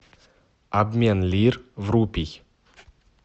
обмен лир в рупий